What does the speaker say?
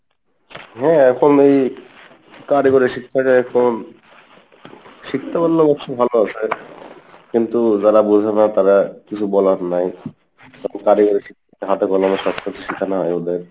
শিখতে পারলে অবশ্য ভালো আসে কিন্তু যারা বোঝেনা তারা, কিছু বলার নাই কারিগরী